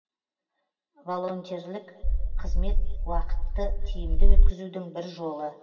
волонтерлік қызмет уақытты тиімді өткізудің бір жолы